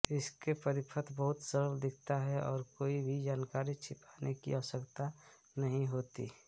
इससे परिपथ बहुत सरल दिखता है और कोई भी जानकारी छिपाने की आवश्यकता नहीं होती